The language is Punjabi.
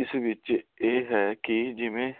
ਇਸ ਵਿਚ ਇਹ ਹੈ ਕਿ